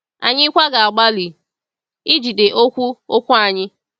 Anyị kwa ga-agbalị ijide okwu okwu anyị.